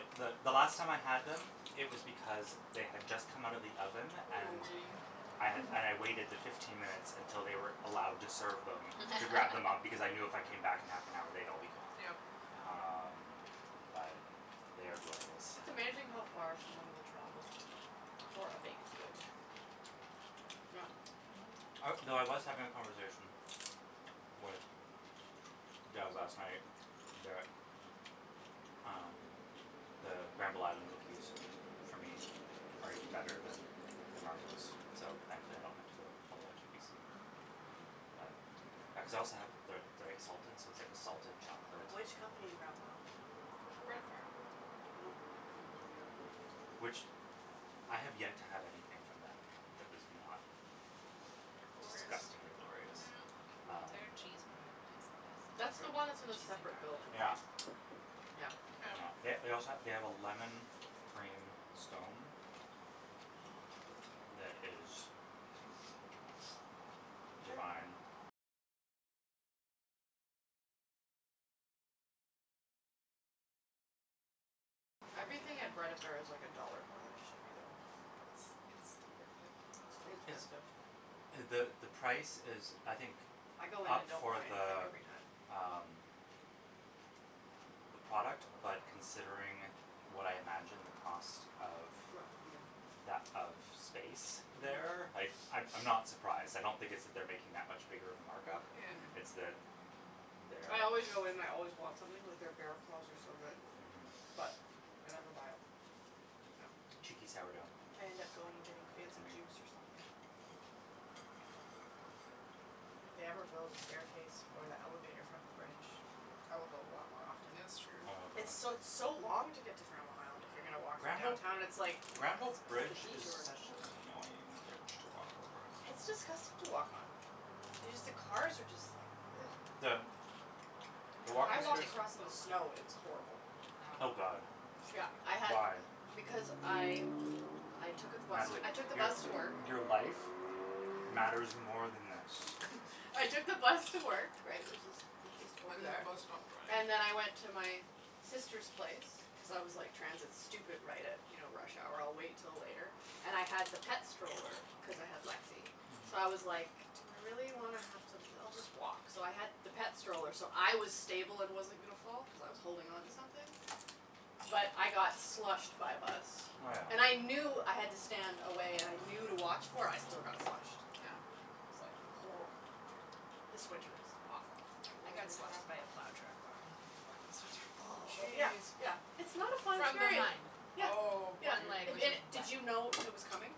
You were the the last time I had them it was because they had just come out of the oven and waiting. I had and I waited the fifteen minutes until they were allowed to serve them to grab them up because I knew if I came back in half an hour they'd all be gone. Yep. Wow. Um, but they are glorious. It's amazing how far someone will travel for a baked good. Yeah. Mhm. I well, I was having a conversation with Jas last night that um, the Granville Island cookies for me are even better than the Marbleous, so thankfully I don't have to go all the way out to UBC. Mhm. But I cuz I also have the the exalted so it's like a salted Mm. chocolate Which company in Granville Island? Bread affair. Oh. Oh. Hmm. Mm. Which, I have yet to have anything from them that was not Glorious. disgustingly glorious. Yeah. Their cheese Um, bread is the best. is That's the one that's The in a cheese and it? separate building, garlic. right? Yeah. Yeah. Yep. They they also ha- they have a lemon cream scone that is Everything at Bread Affair is like a dollar more than it should be though. But it's it's still worth it. So It it's expensive. the the price is I think I go in up and don't for buy anything the every time. um the product. but considering what I imagine the cost of, Mm. that of that of space there, Mm. like, I'm I'm not surprised, I don't think it's that they're making that much bigger of a markup. Yeah. It's Mm. that there I always go in and I always want something, like, their bear claws are so good. Mhm. But I never buy it. Yep. Cheeky sourdough. I end up going and getting Heard it from fancy me. juice or something. If they ever build a staircase or the elevator from the bridge I will go a lot more often. That's true. Oh It's god. so, it's so long to get to Granville Island if you're gonna Mm. walk from Granville downtown and it's like, Granville cuz of the bridge is detour. such an annoying bridge to walk over. It's disgusting to walk on. Y- Mm. just the cars are just like The The I walking walked space across in the snow, it was horrible. I Oh know. god. Yeah, I had Why? Because I I took out the bus to, Natalie, I took the your bus to work. your life matters more than this. I took the bus to work right, which is, it's just And over then the there. bus stopped drying. And then I went to my sister's place cuz I was like, transit stupid, right at you know, rush hour, I'll wait till later. And I had the pet stroller cuz I had Lexi. Mhm. So I was like, "Do I really wanna have to, I'll just walk." So I had the pet stroller so I was stable and wasn't gonna fall, cuz I was holding onto something. But I got slushed by a bus. Oh yeah. And I Mm. knew I had to stand away and I knew to watch for it, I still got slushed. I was like This winter was awful. Yeah. It I was got slushed by really a bad. plow truck walking home from work last winter. Oh, Oh, yeah, jeez. yeah, it's not a fun From experience. behind. Yeah, Oh yeah, One leg if was just did wet. you know it was coming?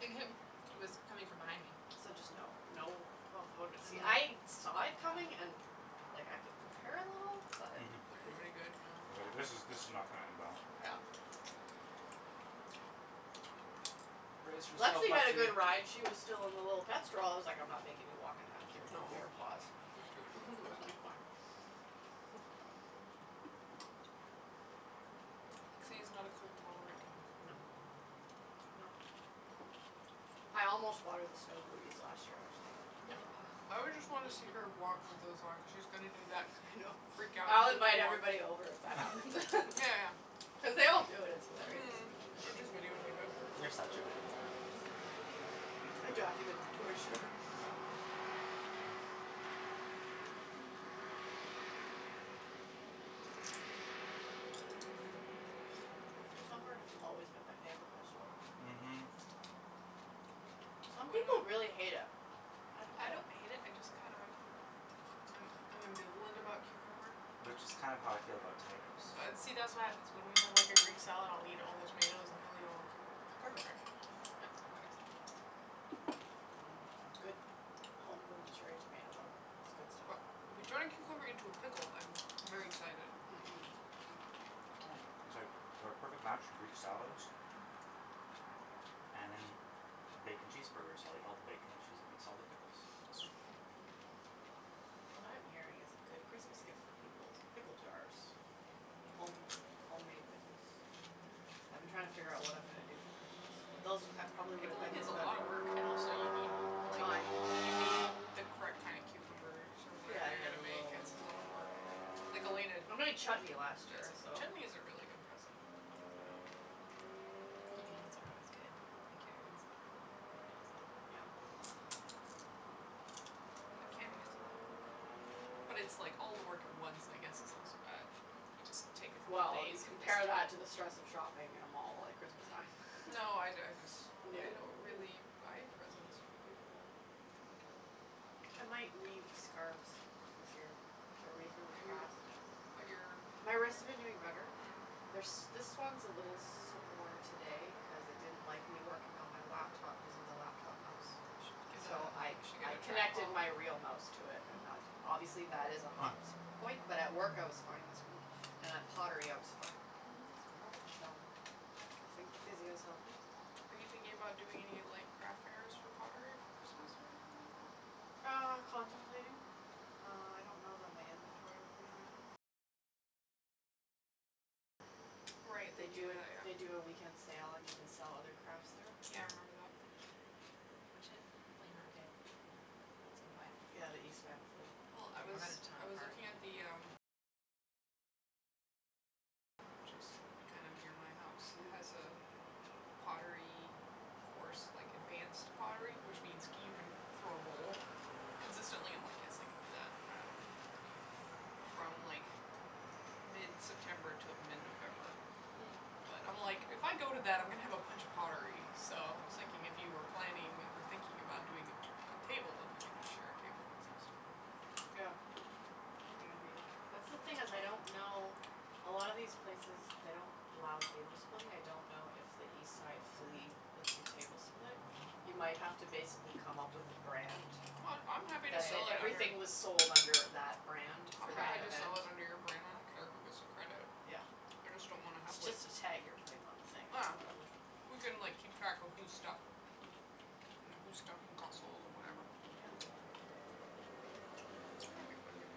It w- it was coming from behind me. So just, no, no, oh I woulda been, see I'm I like saw Yeah it coming and and like, I could prepare a little but Didn't do any good, yeah. It like, Yeah. this is this is not gonna end well. Yeah. Brace yourself, Lexi had a Lexi! good ride, she was still in the little pet stroll- I was like, I'm not making you walk in that with your Mm little aw. bare paws. She woulda been That was frozen. like fine. Mhm. Lexi is not a cold tolerant dog. No. Nope. I almost bought her the snow booties last year, actually. Mm. I would just wanna see her walk with those on cuz she was gonna do that I thing know. of freak out I'll goofy invite walk. everybody over if that happens. Yeah, yeah. Cuz they all do it, it's hilarious. Mhm! Or just video tape it. You're such a good mom. I'd document the torture. Yeah. Cucumber has always been my favorite vegetable. Mhm. Some people really hate it. I don't I don't hate it, I just kinda I'm I'm ambivalent about cucumber. Which is kind of how I feel about tomatoes. See, that's what happens, when we have like a greek salad, I'll eat all the tomatoes and he'll eat all the know cucumbers, it's Perfect. perfect. No. That works. Mm, a good homegrown cherry tomato, though, that's good But stuff. if you turn a cucumber into a pickle I'm very excited. Mm, mhm. Mm, it's like we're a perfect match for greek salads. Mhm. And in bacon cheeseburgers, I'll eat all the bacon and she's eats all the pickles. What I'm hearing is a good Christmas gift for people is pickle jars. Home homemade pickles. I've been trying to figure out what I'm gonna do Mm. for Christmas. But those, I probably would've Pickling is a lotta work. And also, you need, like Time. You need the correct kinda cucumbers, or Yeah, whatever you're yeah, gonna the make little ones. It's a lotta work or Like Elena I d- made chutney last Who does year, every- so Chutney is a really Mm. good present. Yeah. Um Pickled beans are always good, and carrots. They're Mhm. pretty easy. Yeah. Hmm. Mm. But canning is a lotta work. Yeah. But it's like all the work at once, I guess it's not so bad. You just take a couple Well, days you and just compare that do it. to the stress of shopping at a mall at Christmas time. Mm. No, I d- I dis- No. I don't really buy presents for people. Kinda terrible, but I might weave scarves this year. They're reasonably Are you fast. But your My wrists have been doing better. Mm. They're s- this one's a little sore today cuz it didn't like me working on my laptop using the laptop mouse. You should get So I a You should get I a connected trackball. my real mouse to it and Mhm. that, obviously that is a Hmm. hot s- point, but at work I was fine this week. And at pottery, I was fine. Mhm. So, I think the physio's helping. Are you thinking about doing any like craft fairs for pottery for Christmas, or anything like that? Uh, contemplating. Uh, I don't know that my inventory will be high enough. Right, they They do do it, that, they yeah. do a weekend sale and you can sell other crafts there. Yeah, I remember Mm. that. We should flea market at some point. Yeah, the East Van Flea. Well I was I was looking at the, um Which is kind of near my house It has Oh. a pottery course, like, advanced pottery which means c- you can throw a bowl. Consistently, I'm like "yes, I can do that." Um From like, mid-september to mid-november. Mm. But, I'm like, if I go to that, I'm gonna have a bunch of pottery. So I was thinking if you were planning or thinking about doing a a table, if we could just share a table and sell stuff. That's the thing is, I don't know, a lot of these places, they don't allow table splitting, I don't know if the East Side Flea Hmm. lets you table split. You might have to basically come up with a brand. I'm happy to That, sell, that like, under everything was sold under that brand I'm for happy that to event. sell it under your brand, I don't care who gets the credit. Yeah. I just don't wanna have like It's just a tag you're putting on the thing or whatever. Ah. We can, like, keep track of whose stuff Mm whose stuff and got sold, and whatever. Yeah. Mhm. It might be fun to do.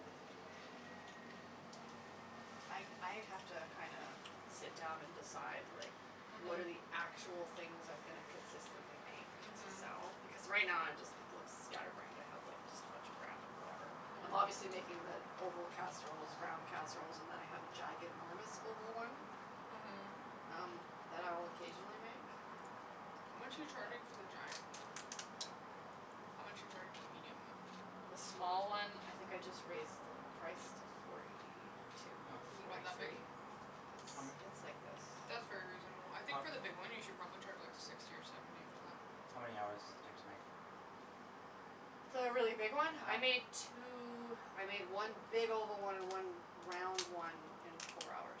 I I have to kinda sit down and decide like, what are Mhm. actual things I'm gonna consistently make to Mhm. sell, because right now I'm just, it looks scatterbrained, I have like just a bunch of random whatever. I'm Mhm. obviously making the oval casseroles, round casseroles, and then I have a giganormous oval one Mhm. um, that I'll occasionally make. How much are But you charging for the giant one? I don't know yet. How much are you charging for the medium one? The small one, I think I just raised the price to forty two or H- Is it about forty that big? three. It's How m- it's like this. That's very reasonable I think for How the big one, you should probably charge like, sixty or seventy for that. How many hours does it take to make? The really big one? I How made two, I made one big oval one and one round one in four hours.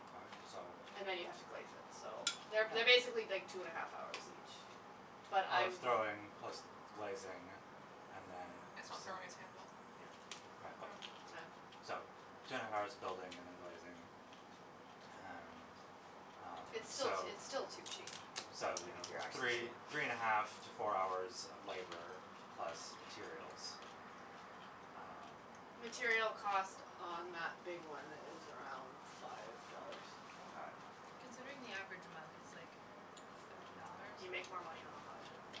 Mkay, so And then you have to glaze it, so They're, they're Yeah. basically like two and a half hours each. But I Of w- throwing plus glazing and then It's not throwing, it's handle. Yeah. Yeah. So, two and a half hours of building and then glazing. And Um, It's still t- it's so still too cheap. So, you Like know, if you're actually three three and a half to four hours of labor plus materials. Um Material cost on that big one is around five dollars. Mkay. Considering the average amount is like, thirty dollars. You make more money on a mug, yeah.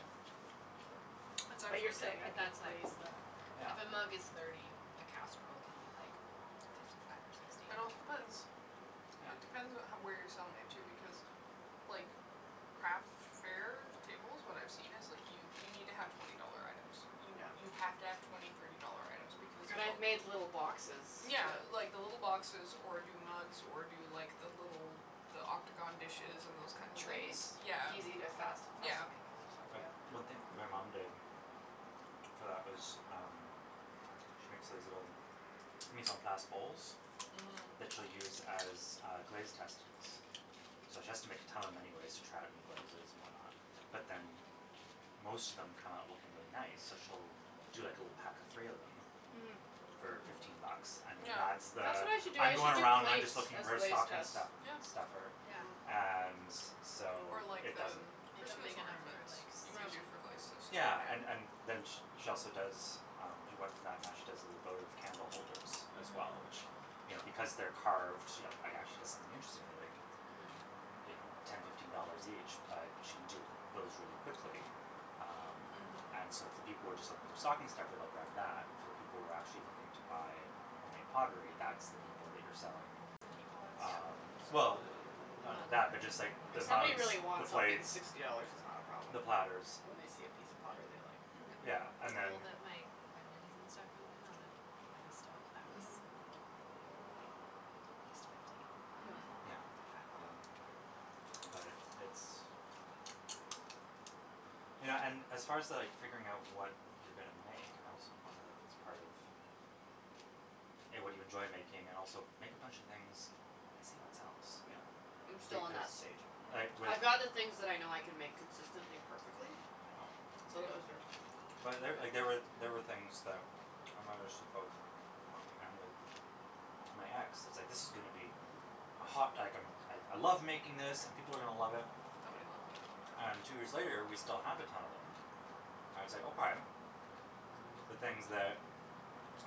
But Exactly. but you're saying I But could that's like, raise the Yeah. if a mug is thirty, a casserole can be like fifty five or sixty. It also depends It Yeah. depends what how where you're selling it, too. Because, like, craft fairs, tables, what I've seen is like, you you need to have twenty dollar items. You Yeah. you have to have twenty, thirty dollar items because And I've of made little boxes Yeah that like, the little boxes, or do mugs, or do like, the little the octagon dishes and those kinda things. Trays. Yeah. Easy to, Mm. fast, fast Yeah. to make, so But one thing my mom did Mhm. for that was, um she makes these little mise en place bowls Mhm. that she'll use as, uh, glaze testings. So she has to make a ton of them anyways to try out new glazes and whatnot. But then m- most of them come out looking really nice, so she'll do like a little pack of three of them Mm. for fifteen bucks, Mm. and then Yeah. that's That's the what I should do, "I'm I going should do around and I'm plates just looking as for a glaze stocking tests. stu- Yeah. stuffer" Yeah. Yeah. and so Or like, it the doesn't m- Make 'em Christmas big enough for ornaments. like, You could do sushi. Yeah. for glaze tests too, Yeah, right? and and then sh- she also does um, she went from that and now she does little votive candle holders as well, Mm. which, you know because they're carved, you know, actually does something interesting, they're like Mhm. you know, ten, fifteen dollars each but she can do those really quickly. Um And so Mhm. if the people were just looking for stocking stuffer they'll grab that. For the people who are actually looking to buy homemade pottery, that's the people that you're selling The teapots. um Well, The none of mug that, but just hoarders, like like the If me. somebody mugs, really the wants something, the plates sixty dollars is not a problem. the platters. When they see a piece of pottery they like. Mhm. Yeah, and People then that make onions and stuff moving on the by the stove, that was, Mhm. like, at least fifty. Yeah. Mhm. Yeah. Something like Um that. But it's You know, and as far to like figuring out what you're gonna make I also wonder if it's part of A, what do you enjoy making and also make a bunch of things and see what sells. Yeah. Yeah. I'm still on Because that stage. like, Mm. with I'd rather things that I know I can make consistently perfectly. Yeah. So those But are, there, like, big there were, there were things that Mm. mom and with my ex, it was like "this is gonna be a hot" like a "I I love making this, and people are gonna love it." Nobody loves it. And two years later we still have a ton of them. And it's like, okay. The things that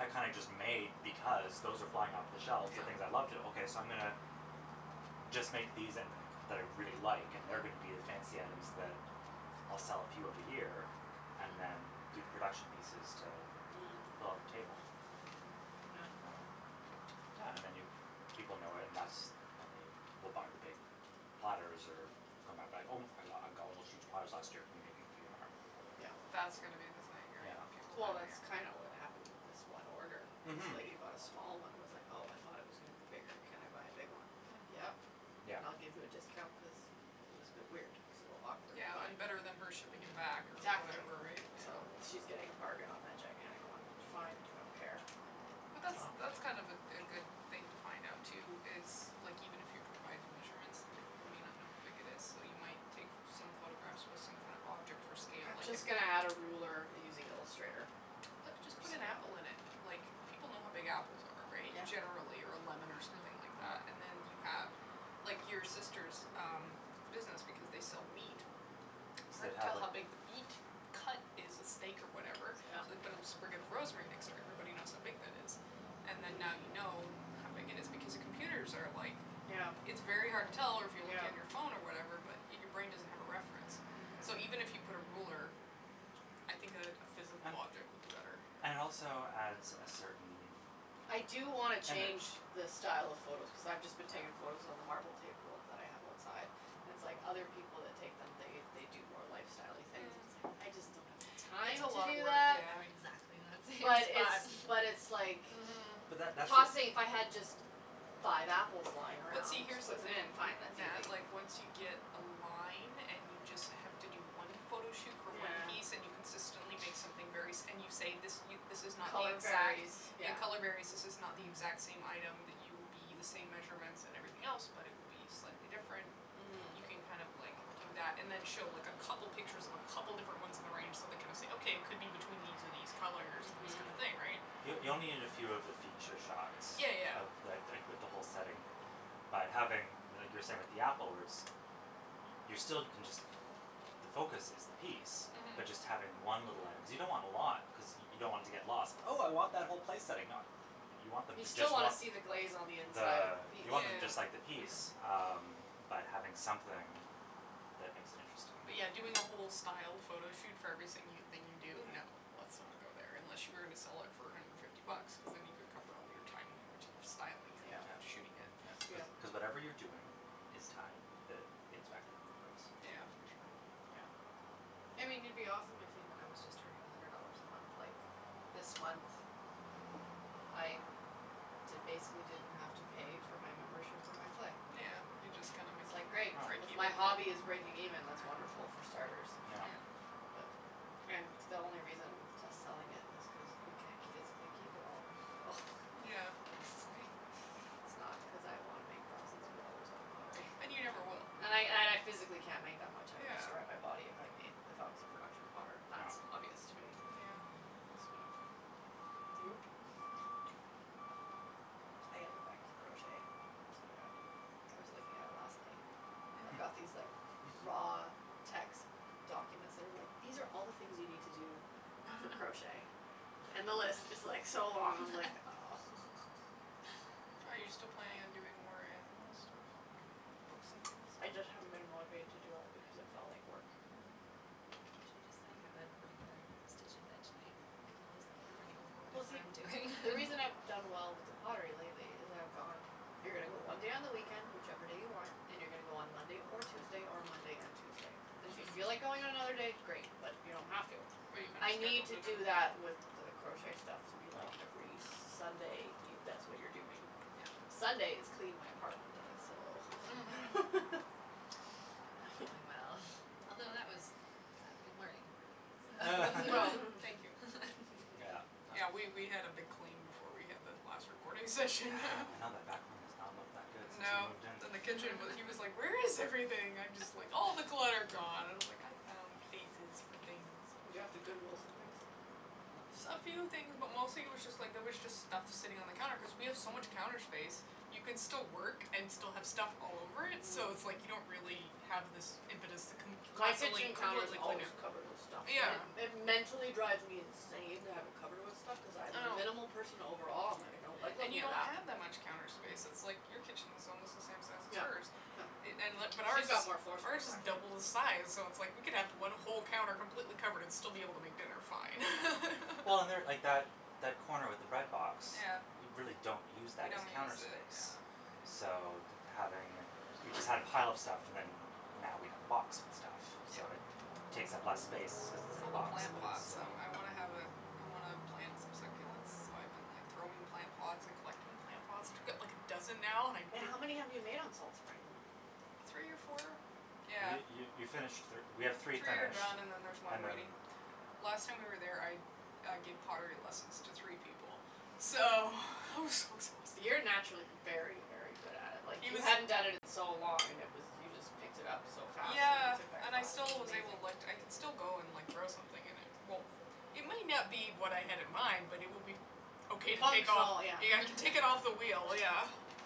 are kinda just made because, those are flying off the shelves the Yeah. things I love to, okay so I'm gonna just make these and, that I really like, and they're Mhm. gonna be the fancy items that I'll sell a few of a year and then Mhm. do the production pieces to Mm. Mm. fill up table. Yeah. Um Yeah, and then you, people know it and that's when they will buy the big platters, or come back be like, "Oh I got, I got one of those huge platters last year, can you make me three more?" Yeah. That's gonna be the thing, right? Yeah. People Well hogging that's Mhm. up kinda what happened with this one order. This Mhm. lady bought a small one and was like "Oh, I thought it was gonna be bigger, can I buy a big one?" I was like, Mm. "Yep, Yeah. and I'll give you a discount" cuz y- it was a bit weird. It was a little awkward Yeah, and better than her shipping it back or Mhm. Exactly. whatever, right? So Yeah. she's getting a bargain on that gigantic one. Fine, I don't care, I don't, But that's that's fine. Oh. that's kind of a a good thing to find out, too is, like even if you provide the measurements, then people might not know how big it is. Though you might take f- some photographs with some kind of object for scale I'm like an just gonna add a ruler using Illustrator Put, just for put an scale. apple in it! Like, people know how big apples are, right? Generally, or a lemon or something Mhm. like that. Yeah. And then you have, like, your sister's um business, because they sell meat. They'd Hard to have tell like how big the beat cut is a steak or whatever. So Yep. we put a sprig of rosemary next to it, everybody knows how big that is. And then now Mm. you know how big it is, because the computers are like Yeah. It's very hard to tell, or if you're looking at your Yeah. phone or whatever, but your brain doesn't have a reference, so even if you Mm. put a ruler I think a a physal And object would be better. Yeah. And it also adds a certain I do wanna change image. the style of photos cuz I've just been Yeah. taking photos on the marble table that I have outside. It's like other people that take them, they they do more lifestyle-y things. Mm. It's like, Mm. I just don't have the It's time a Mm. to lotta do work, that. yeah. Exactly, I'm thinking But like it's that. But it's like Mhm. But that that's the Tossing, if I had just five apples lying But around, see, here's just the put them thing, in, N- fine, that's Nat, easy. like once you get a line, and you just have to do one photo shoot for one piece and you Yeah. consistently make something very s- and you say this y- this is not the Color exact, varies. yeah, Yeah. color varies This is not the Mhm. exact same item that you will be, the same measurements and everything else but it will be slightly different. You Mhm. can Yeah. kind of like, do that, and then show like a couple pictures of a couple different ones in the range, so they kind of say "Okay, it could be between these and these colors and this Mhm. Yeah. kinda thing," right? Y- you only need a Mhm. few of the feature shots Yeah, yeah, of yeah. the, th- like with the whole setting. By having, I mean like you were saying with the apple words y- you're still, can just the focus is the piece. Mhm. But just having one little item, cuz you don't want a lot cuz y- you don't want it to get lost. "Oh I want that whole place setting." Nah, y- you want them You to just still wanna want see the glaze on the inside of the, the piece, you want them just Yeah. too. like the piece. Mhm. Um, but having something that makes it interesting. But yeah, doing a whole styled photo shoot for every sing- thing you do? No. Let's not go there, unless you were gonna sell it for a hundred and fifty bucks. Cuz then you could cover all of your time and energy of styling it Yeah. and Yeah. shooting it. That's cuz Yeah. cuz whatever you're doing is time that gets factored in the price. Yeah. Yeah, for sure. Yeah. I mean it'd be awesome if even I was just earning a hundred dollars a month, like This month I d- basically didn't have to pay for my membership for my clay. Yeah, you just kinda It's like, making, great, break Oh. if even. my hobby is breaking Yeah. even, that's wonderful, for starters. Yeah. And the only reason to selling it is cause you c- physically keep it all. So Yeah. it's like, it's not cuz I wanna make thousands of dollars off pottery. And you never will. And I, and I physically can't make that much, I would destroy Yeah. my body if I made, if I was a production potter. That's Yeah. obvious to me. Yeah. Mm. So Nope. But, I gotta get back to crochet, that's what I gotta do. I was looking at it last night, I've got Mhm. these like, raw text documents that are like, "these are all the things you need to do for crochet." And the list is like, so long, I'm like, oh. Are you still planning on doing more animal stuff? Like, books and things? I just haven't been motivated to do it because it felt Mm. like work. Mhm. You should just like have a regular stitch and bitch night. And I'll just bring over Well whatever see, I'm doing. the reason I've done well with the pottery lately is I've gone You're gonna go one day on the weekend, whichever day you want. And you're gonna go on Monday or Tuesday, or Monday and Tuesday. And if you feel like Mhm. going on another day, great, but you don't have to. But you kinda Mhm. I need scheduled to it do in. that with the crochet stuff to be like, Oh. every Sunday. You, that's what you're doing. Sunday is clean my apartment day, so That went really well, although that was Saturday morning for me, so Well, thank you. Yeah, Yeah, that was we we had a big clean before we had the last recording session. Yeah, I know that back room has not looked that good since we No. moved in. Then the kitchen w- he was like, "Where is everything?" I'm just like, "All the clutter gone" and I was like, "I found places for things." Did you have to Goodwill some things? No. S- a few things, but mostly it was just like, there was just stuff sitting on the counter cuz we have so much counter space. You can still work and still have stuff all over it, so it's like Mm. you don't really have this impetus to con- My constantly kitchen counter's completely clean always it. covered with stuff. And Yeah. Yeah. it it mentally drives me insane to have it covered with stuff. Cuz I I am a know. minimal person overall, I'm like, I don't like And looking you at don't that. have that much counter space, it's like your kitchen's almost the same size as Yeah. hers No. i- and li- but ours Who's is got more floor space ours is actually. double the size, so it's like we could have one whole counter completely covered and still be able to make dinner fine. Well and there, like that that corner with the bread box Yeah. we really don't use We that as don't counter use it, yeah. space. So, d- having, we just had a pile of stuff and then now we have the box with stuff. Yeah. So it takes up less space cuz it's It's in all a the box, plant but it's that's um, still I wanna have a I wanna plant some succulents, so I've been like, throwing plant pots and collecting plant pots. I got like a dozen now and I Wait, how many have you made on Salt Spring? Three or four? Yeah. You you you finished thir- we have Three three are finished done and then there's one and then, waiting. Last time we were yeah. there, I I gave pottery lessons to three people, so it was so You're exhausting. naturally very, very good at it. Like, He you was hadn't done it in so long and it was you just picked it up so fast when Yeah, you took that and I class. It still was was able, like, amazing. I can still go and, like, throw something and it won't It may not be what I had in mind, but it will be okay to take off. Functional, yeah. Yeah, I can take it off the wheel, yeah.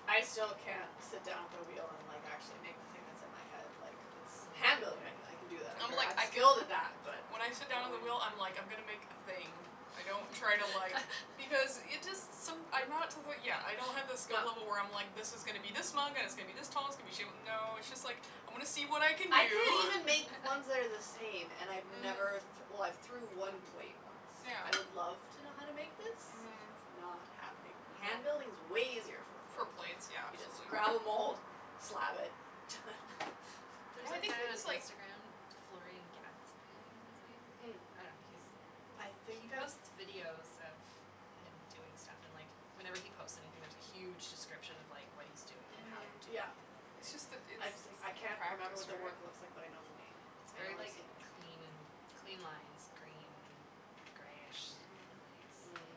I still can't sit down at the wheel and, like, actually make the thing that's in my head, like, it's Handling, I I can do that, I'm I'm ver- like, I'm I skilled guilded at that, that. but When I sit down at the wheel, I'm like, I'm gonna make a thing. I don't try to, like Because it just, som- I'm not to the, yeah, I don't have the skill level where I'm like this is gonna be this mug and it's gonna be this tall, it's going to be shape no, it's just like I'm gonna see what I can I can't do. even make ones that are the same, and I've never th- Mhm. well, I've threw Mhm. one plate once. I would love Yeah. to know how to make this. Mhm. It's not happening. I know. Hand building is way easier for a For plate. plates, yeah, You just absolutely. grab a mould, slab it, done. Yeah, There's I a think it guy it on was like Instagram, Floren Gatzby, I think is his Mm. name. I Mm. don't know, he's I he think I've posts videos of him doing stuff and, like, whenever he posts anything, there's a huge description of, like, what he's doing and how he's Mhm. doing Yeah. it and It's just the everything. it's I've s- practice, I can't remember what the work looks like, but I right? know the name. It's I know very, I've like, seen it. clean and clean lines, green greyish Mhm. glaze, like,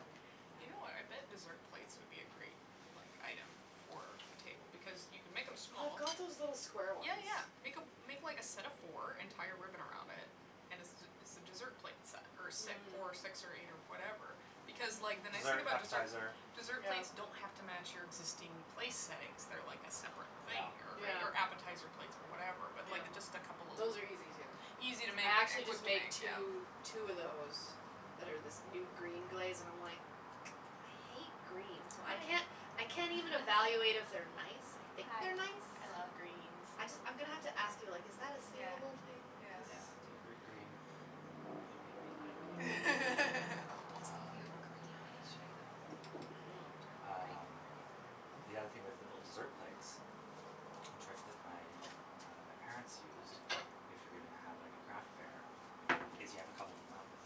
You know what, I bet yeah. dessert plates would be a great, like, item for a table because you can make them small. I've got those little square ones. Yeah, yeah, make a make like a set of four and tie a ribbon around it and it's it's a dessert plate set or si- Mm. four, six or eight or whatever because, like, the Mm, nice thing dessert, Mhm. about deser- appetizer. dessert plates don't Yeah. have to match your existing place settings. They're like a separate Yeah. thing or right Yeah. or appetizer plates or whatever but, Yeah. like, just a couple of l- Those are easy, too. Easy to make I actually and quick just to make made two two of those that are this new green glaze and I'm, like, I hate green, so I can't I I can't even evaluate if they're nice. I think they're nice. I just I'm gonna have to ask you, like is that a salable thing cuz Yeah, type gr- green, we we like it. Speaking of Um. green, I'll show you the bowl, Mm. while we're talking about green Um, pottery. the other thing was little dessert plates. A trick that my, uh, my parents used, if you're gonna have like a craft fair, is you have a couple of them out with